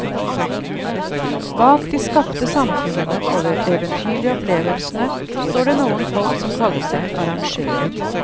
Bak de skapte samfunnene og eventyrlige opplevelsene står det noen folk som kaller seg arrangører.